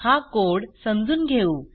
हा कोड समजून घेऊ